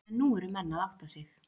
En nú eru menn að átta sig.